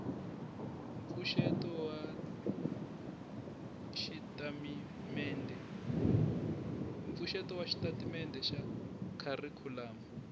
mpfuxeto wa xitatimendhe xa kharikhulamu